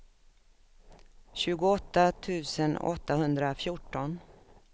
tjugoåtta tusen åttahundrafjorton